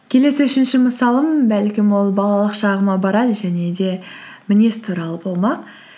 келесі үшінші мысалым бәлкім ол балалық шағыма барады және де мінез туралы болмақ